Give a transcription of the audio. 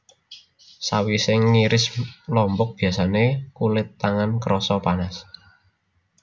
Sawisé ngiris lombok biyasané kulit tangan krasa panas